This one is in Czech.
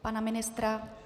Pana ministra?